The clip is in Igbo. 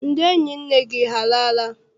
Ndị enyi nne gị alala?